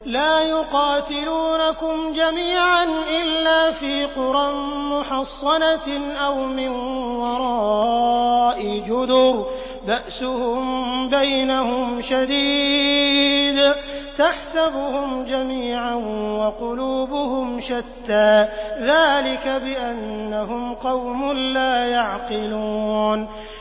لَا يُقَاتِلُونَكُمْ جَمِيعًا إِلَّا فِي قُرًى مُّحَصَّنَةٍ أَوْ مِن وَرَاءِ جُدُرٍ ۚ بَأْسُهُم بَيْنَهُمْ شَدِيدٌ ۚ تَحْسَبُهُمْ جَمِيعًا وَقُلُوبُهُمْ شَتَّىٰ ۚ ذَٰلِكَ بِأَنَّهُمْ قَوْمٌ لَّا يَعْقِلُونَ